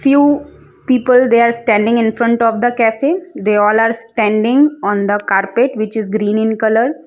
few people they are standing in front of the cafe they all are standing on the carpet which is green in colour.